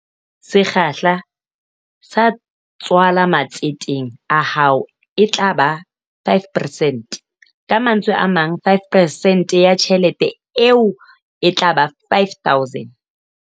Sekgahla sa tswala matseteng a hao e tla ba 5 peresente, ka mantswe a mang 5 percent ya tjhelete eo e tla ba R5000.